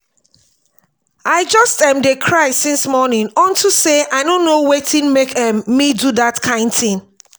i just um dey cry since morning unto say i no know wetin make um me do dat kin thing